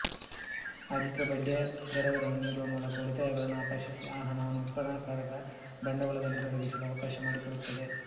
ಅಧಿಕ ಬಡ್ಡಿಯದರಗಳನ್ನು ನೀಡುವ ಮೂಲಕ ಉಳಿತಾಯಗಳನ್ನು ಆಕರ್ಷಿಸಿಆ ಹಣವನ್ನು ಉತ್ಪನ್ನಕಾರಕ ಬಂಡವಾಳದಲ್ಲಿ ತೊಡಗಿಸಲು ಅವಕಾಶ ಮಾಡಿಕೊಡುತ್ತದೆ